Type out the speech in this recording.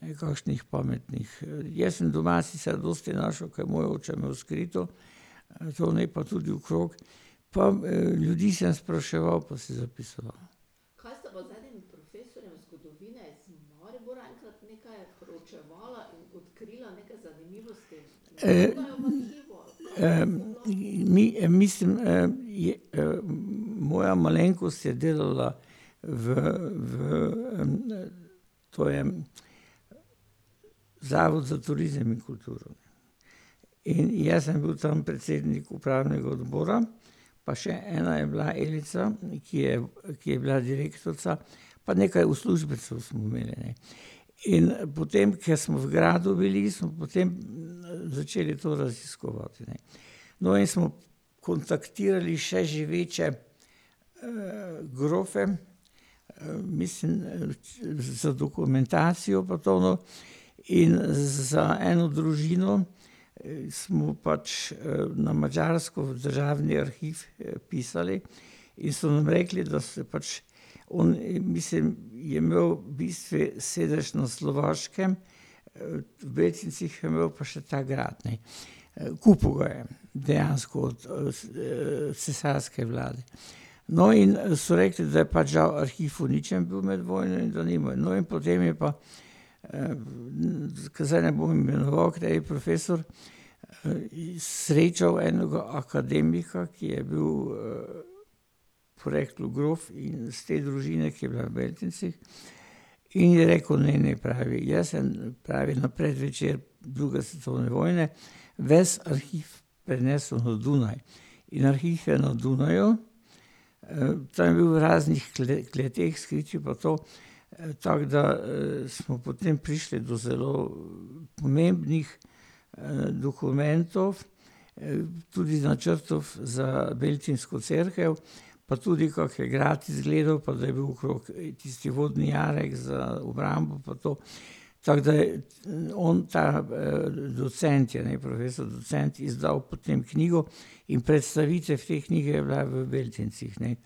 nekakšnih pametnih. Jaz sem doma sicer dosti našel, ker moj oče je imel skrito, zunaj pa tudi okrog, pa ljudi sem spraševal pa si zapisoval. mislim, je, moja malenkost je delala v, v, to je, Zavod za turizem in kulturo. In jaz sem bil tam predsednik upravnega odbora pa še ena je bila, Elica, ki je, ki je bila direktorica. Pa nekaj uslužbencev smo imeli, ne. In potem, ker smo v gradu bili, smo potem začeli to raziskovati, ne. No, in smo kontaktirali še živeče, grofe, mislim, da za dokumentacijo pa to, no, in za eno družino smo pač na Madžarsko v državni arhiv pisali in so nam rekli, da se pač oni, mislim, je imel v bistvu sedež na Slovaškem, v Beltincih je imel pa še ta grad, ne, kupil ga je dejansko od, cesarske vlade. No, in so rekli, da je pač žal arhiv uničen bil med vojno in to nima, no, in potem je pa, ke zdaj ne bom imenoval, kateri profesor, srečal enega akademika, ki je bil, poreklu grof in iz te družine, ki je bila v Beltincih, in je rekel: "Ne, ne," pravi, "jaz sem," pravi, "na predvečer druge svetovne vojne ves arhiv prenesel na Dunaj." In arhiv je na Dunaju, tam je bil v raznih kleteh, skritju pa to, tako da, smo potem prišli do zelo pomembnih, dokumentov, tudi načrtov za beltinsko cerkev, pa tudi kako je grad izgledal, pa da je bil okrog tisti vodni jarek za obrambo pa to. Tako da je on ta, docent je, ne, profesor docent, izdal potem knjigo in predstavitev te knjige je bila v Beltincih, ne,